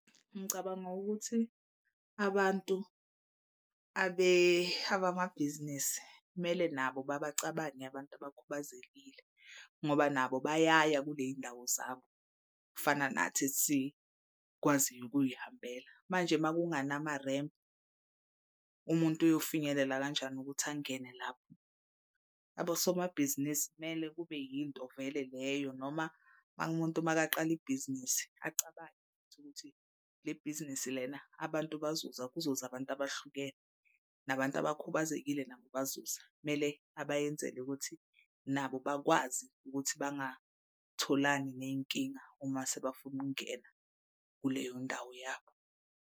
Ngicabanga ukuthi abantu abamabhizinisi kumele nabo babacabange abantu abakhubazekile ngoba nabo bayaya kule yindawo zabo. Kufana nathi esikwaziyo ukuy'hambela manje makunganamarempu umuntu uyofinyelela kanjani ukuthi angene lapho. Abosomabhizinisi kumele kube yinto vele leyo noma makumuntu makaqala ibhizinisi acabange ukuthi lebhizinisi lena abantu bazoza kuzoze abantu abahlukene. Nabantu abakhubazekile nabo bazoza kumele abayenzeli ukuthi nabo bakwazi ukuthi bengatholani ney'nkinga uma sebafuna ukungena kuleyo ndawo yabo.